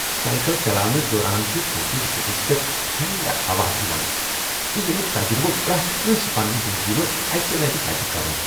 Cycle چلاونس دوران چِھ تُہنٛدس بُتھس پٮ۪ٹھ ٹھنڈٕ ہوا یوان تہٕ ییٚمِیُک تجربہٕ پرٛٮ۪تھ کٲنٛسہ پننِہ زندگی منٛز اکہ لٹہِ پَزِ کرُن۔